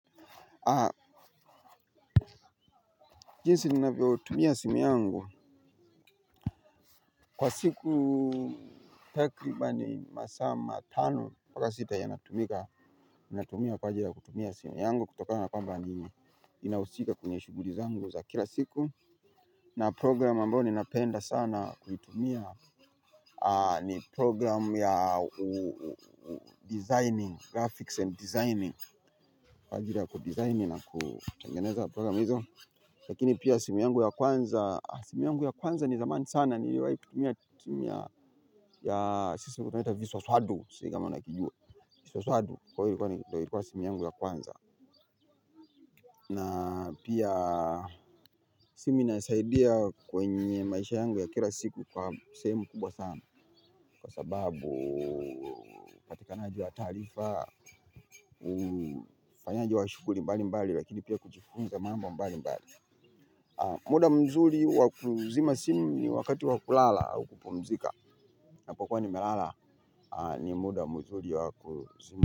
Jinsi ninavyo tumia simu yangu. Kwa siku tekribani masaa matano ata sita yanatumika. Ninatumia kwajiri ya kutumia simu yangu. Kutokana kwamba ninausika kwenye shughuli zangu za kila siku na prograhamu ambayo napenda sana kuitumiya. Ni program ya designing, graphics and designing. Kwa ajili ya kudizaini na kutengeneza program hizo. Lakini pia simu yangu ya kwanza simu yangu ya kwanza ni zamani sana niliwahi kutumiya simu ya sosadu sijui kama unahijua. Kwa hivyo ilikuwa simu yangu ya kwanza. Na pia simu inanisaidia kwenye maisha yangu ya kila siku kwa semu kubwa sana. Kwa sababu upatikanaji wa tarifa ufanyaji wa shughuli mbali mbali lakini pia kujifunza mambo mbali mbali. Muda mzuri wa kuzima simu ni wakati wa kulala au kupumzika napokuwa nimelala ni muda mzuri wa kuzima.